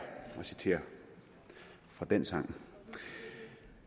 at citere fra den sang